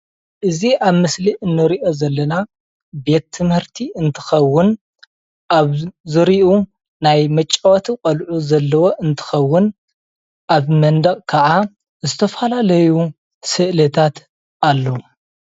እዚ ኣብ ምስሊ እንሪኦ ዘለና ቤት ትምህርቲ እንትኽውን ኣብ ዝርይኡ ናይ መጫወቲ ቆልዑ ዘለዎ እንትኽውን፣ ኣብ መንደቅ ክዓ ዝተፈላለዩ እስልታት ኣለው፡፡